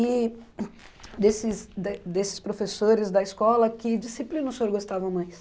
E desses de desses professores da escola, que disciplina o senhor gostava mais?